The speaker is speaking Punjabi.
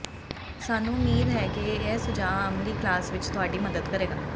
ਸਾਨੂੰ ਉਮੀਦ ਹੈ ਕਿ ਇਹ ਸੁਝਾਅ ਅਮਲੀ ਕਲਾਸ ਵਿਚ ਤੁਹਾਡੀ ਮਦਦ ਕਰੇਗਾ